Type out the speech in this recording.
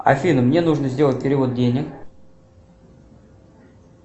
афина мне нужно сделать перевод денег